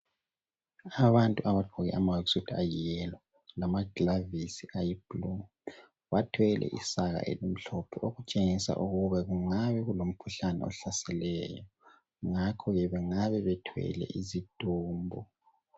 Abantu abagqoke ama "work suit" ayi "yellow" namagilavisi ayi"blue", bathwele isaka elimhlophe okutshengisa ukube kungabe kulomkhuhlane ohlaseleyo, ngakho bengabe bethwele izidumbu.